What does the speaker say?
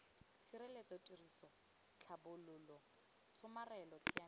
tshireletso tiriso tlhabololo tshomarelo tsamaiso